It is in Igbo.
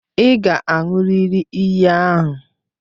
Ị ga-aṅụrịrị iyi ahụ!